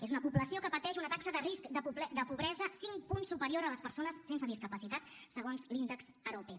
és una població que pateix una taxa de risc de pobresa cinc punts superior a les persones sense discapacitat segons l’índex arope